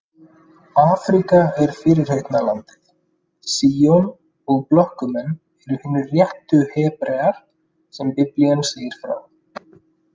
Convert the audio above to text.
Afríka er fyrirheitna landið, Síon, og blökkumenn eru hinir réttu Hebrear sem Biblían segir frá.